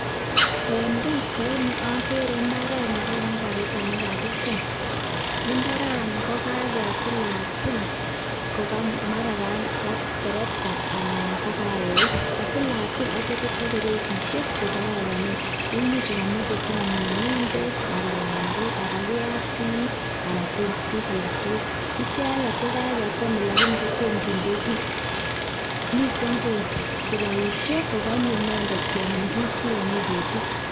eng pichait ni agere mbaret negararan kabisa negagitem. imbarani kokagetila til mara koterekta anan koek . katilatil okochop resishek che koronone imuche sikokameche komin ngendek , pandek, ann piasonik anan pinsik alak tugul icheget tugul ko kaketem lakini toma kinde gi. mitoi kopaishe kogane inendet kemin sigegol tuguk.